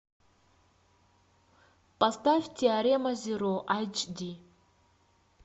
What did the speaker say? поставь теорема зеро айч ди